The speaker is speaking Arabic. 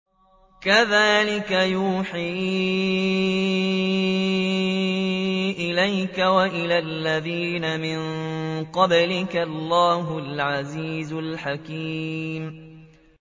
كَذَٰلِكَ يُوحِي إِلَيْكَ وَإِلَى الَّذِينَ مِن قَبْلِكَ اللَّهُ الْعَزِيزُ الْحَكِيمُ